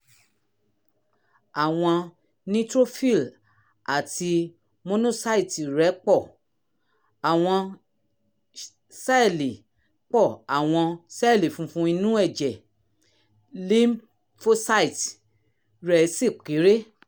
àwọn neutrophil àti monocyte rẹ pọ̀ àwọn sẹ́ẹ̀lì pọ̀ àwọn sẹ́ẹ̀lì funfun inú ẹ̀jẹ̀ (lymphocyte) rẹ́ sì kéré